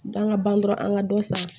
Dan ka ban dɔrɔn an ka dɔ san